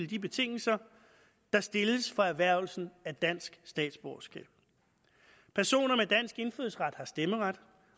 de betingelser der stilles for erhvervelsen af dansk statsborgerskab personer med dansk indfødsret har stemmeret